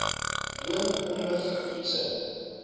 dwing ommiv toets